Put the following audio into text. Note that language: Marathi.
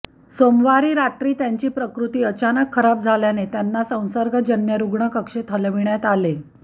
सोमवारी रात्री त्यांची प्रकृती अचानक खराब झाल्याने त्यांना संसर्गजन्य रूग्ण कक्षेत हलविण्यात आले